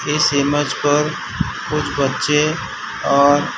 इस इमेज पर कुछ बच्चे और--